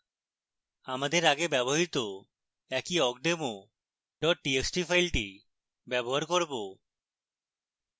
আমাদের আগে ব্যবহৃত একই awkdemo txt file ব্যবহার করব